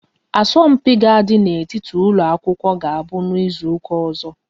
Asọmpi ga àdi n'etiti ụlọ akwụkwọ ga-abụ n'izuka ọzọ